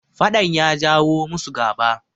fadan ya jawo musu gaba